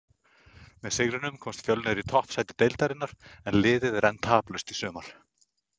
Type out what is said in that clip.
Með sigrinum komst Fjölnir í toppsæti deildarinnar en liðið er enn taplaust í sumar.